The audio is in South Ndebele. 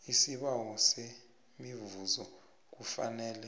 isibawo semivuzo kufanele